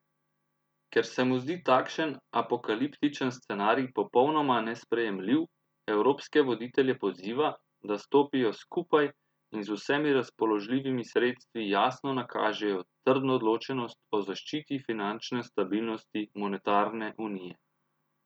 Ker se mu zdi takšen apokaliptičen scenarij popolnoma nesprejemljiv, evropske voditelje poziva, da stopijo skupaj in z vsemi razpoložljivimi sredstvi jasno nakažejo trdno odločenost o zaščiti finančne stabilnosti monetarne unije.